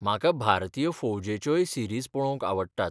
म्हाका भारतीय फौजेच्योय सीरीज पळोवंक आवडटात.